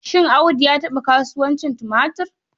Shin Audu ya taɓa kasuwancin tumatur?